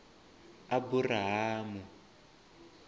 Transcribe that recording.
aburahamu